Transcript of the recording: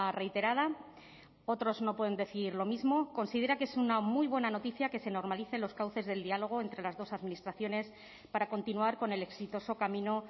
reiterada otros no pueden decir lo mismo considera que es una muy buena noticia que se normalicen los cauces del diálogo entre las dos administraciones para continuar con el exitoso camino